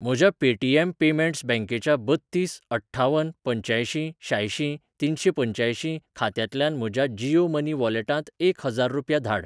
म्हज्या Paytm payments बँकेच्या बत्तीस अठ्ठावन पंच्यांयशीं शांयशीं तिनशेंपंच्यांयशीं खात्यातल्यांन म्हज्या जीयो मनी वॉलेटांत एक हजार रुपया धाड.